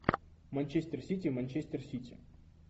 манчестер сити манчестер сити